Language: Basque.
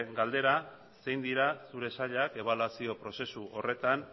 galdera zein dira zure sailak ebaluazio prozesu horretan